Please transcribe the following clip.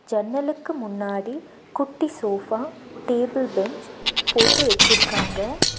ஜன்னலுக்கு முன்னாடி குட்டி சோஃபா டேபிள் பெஞ்ச் போட்டு வச்சிருக்காங்க.